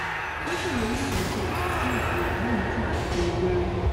ó ṣèlérí láti ṣe ìtúsílẹ fún mi léyìí tí mà á fi bímọ wẹrẹ